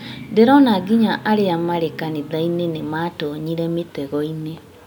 Ndĩrona nginya arĩa marĩ kanitha-inĩ nĩmatonyire mũtegoinĩ